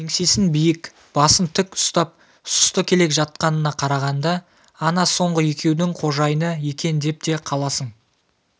еңсесін биік басын тік ұстап сұсты келе жатқанына қарағанда ана соңғы екеудің қожайыны екен деп те қаласың